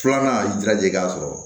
Filanan y'i jiraja i k'a sɔrɔ